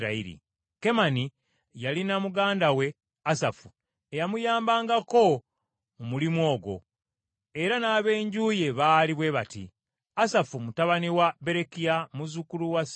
Kemani yalina muganda we Asafu eyamuyambangako mu mulimu ogwo, era n’ab’enju ye baali bwe bati: Asafu mutabani wa Berekiya, muzzukulu wa Simeeyi,